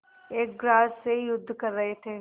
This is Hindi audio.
एक ग्रास से युद्ध कर रहे थे